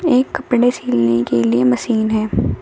एक कपड़े सिलने के लिए मशीन है।